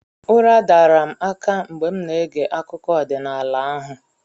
Ụra dara m aka mgbe m na-ege akụkọ ọdịnala ahụ